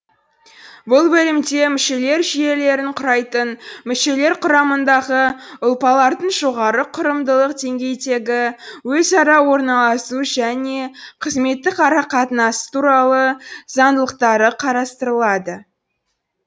бұл бөлімде мүшелер жүйелерін құрайтын мүшелер құрамындағы ұлпалардың жоғары құрылымдық деңгейдегі өзара орналасу және қызметтік арақатынасы туралы заңдылықтары қарастырылады